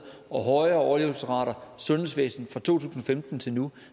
og højere overlevelsesrater har sundhedsvæsenet fra to tusind og femten til nu